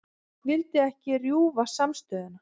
Vildi ekki rjúfa samstöðuna